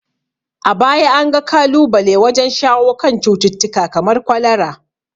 A baya an ga kalubale wajen shawo kan cututtuka kamar kwalara.